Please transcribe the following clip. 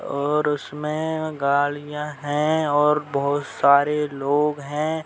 और उसमें गाड़ियां है और बहुत सारे लोग हैं।